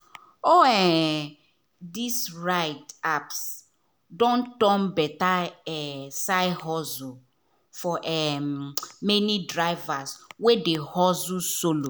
all um these ride-apps don turn better um side hustle for um many drivers wey dey hustle solo.